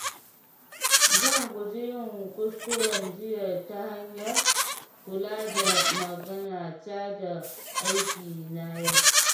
Zan guji yin kuskuren jiya ta hanyar kula da maganata da aikina yau.